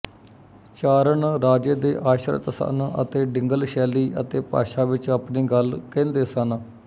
ਚਾਰਣ ਰਾਜੇ ਦੇ ਆਸ਼ਰਿਤ ਸਨ ਅਤੇ ਡਿੰਗਲ ਸ਼ੈਲੀ ਅਤੇ ਭਾਸ਼ਾ ਵਿੱਚ ਆਪਣੀ ਗੱਲ ਕਹਿੰਦੇ ਸਨ